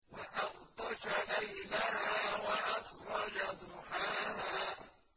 وَأَغْطَشَ لَيْلَهَا وَأَخْرَجَ ضُحَاهَا